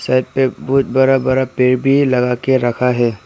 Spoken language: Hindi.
बहुत बड़ा बड़ा पेड़ लगा के रखा है।